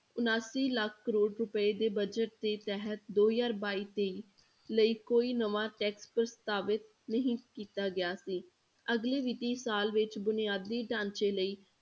ਉਣਾਸੀ ਲੱਖ ਕਰੌੜ ਰੁਪਏ ਦੇ budget ਦੇ ਤਹਿਤ ਦੋ ਹਜ਼ਾਰ ਬਾਈ ਤੇਈ ਲਈ ਕੋਈ ਨਵਾਂ tax ਪ੍ਰਸਤਾਵਿਤ ਨਹੀਂ ਕੀਤਾ ਗਿਆ ਸੀ, ਅਗਲੀ ਵਿੱਤੀ ਸਾਲ ਵਿੱਚ ਬੁਨਿਆਦੀ ਢਾਂਚੇ ਲਈ